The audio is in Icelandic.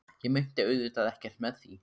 Ég meinti auðvitað ekkert með því.